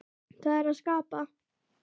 Það er að skapa.